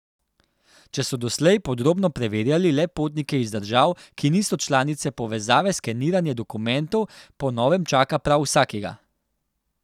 Če so doslej podrobno preverjali le potnike iz držav, ki niso članice povezave, skeniranje dokumentov po novem čaka prav vsakega.